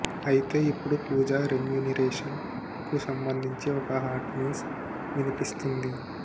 అయితే ఇప్పుడు పూజ రెమ్యునిరేషన్ కు సంబధించి ఓ హాట్ న్యూస్ వినిపిస్తుంది